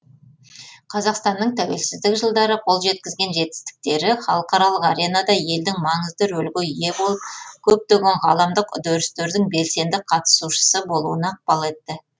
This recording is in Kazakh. қазақстанның тәуелсіздік жылдары қол жеткізген жетістіктері халықаралық аренада елдің маңызды рөлге ие болып көптеген ғаламдық үдерістердің белсенді қатысушысы болуына ықпал етті